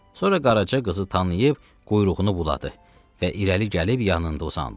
Sonra Qaraca qızı tanıyıb, quyruğunu buladı və irəli gəlib yanında uzandı.